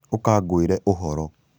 ũka ngwĩre ũhoro